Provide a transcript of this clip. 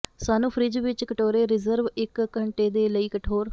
ਸਾਨੂੰ ਫਰਿੱਜ ਵਿਚ ਕਟੋਰੇ ਰਿਜ਼ਰਵ ਇੱਕ ਘੰਟੇ ਦੇ ਲਈ ਕਠੋਰ